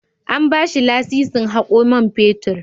An ba shi lasisin hako man fetur.